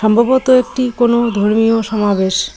সম্ভবত একটি কোনো ধর্মীয় সমাবেশ।